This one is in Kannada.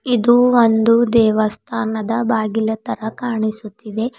ಇದು ಒಂದು ದೇವಸ್ಥಾನದ ಬಾಗಿಲ ತರ ಕಾಣಿಸುತ್ತಿದೆ.